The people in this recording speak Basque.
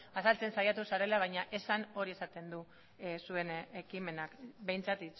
azaltzen saiatu zarela baina esan hori esaten du zuen ekimenak behintzat